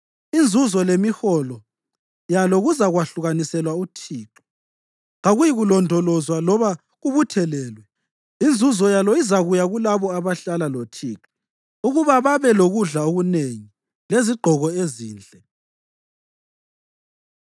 Inzuzo lemiholo yalo kuzakwahlukaniselwa uThixo; kakuyikulondolozwa loba kubuthelelwe. Inzuzo yalo izakuya kulabo abahlala loThixo ukuba babe lokudla okunengi lezigqoko ezinhle.